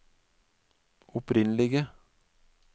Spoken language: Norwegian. opprinnelige